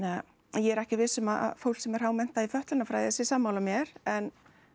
ég er ekki viss um að fólk sem er hámenntað í fötlunarfræði sé sammála mér en